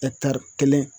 kelen